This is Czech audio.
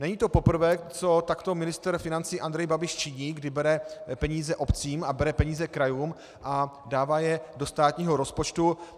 Není to poprvé, co takto ministr financí Andrej Babiš činí, kdy bere peníze obcím a bere peníze krajům a dává je do státního rozpočtu.